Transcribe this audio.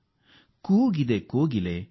ಮರದ ಕೊಂಬೆಯಲಿ ಕೂಗುತಿದೆ ಕೋಗಿಲೆ